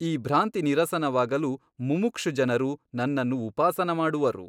ಈ ಭ್ರಾಂತಿನಿರಸನವಾಗಲು ಮುಮುಕ್ಷುಜನರು ನನ್ನನ್ನು ಉಪಾಸನ ಮಾಡುವರು.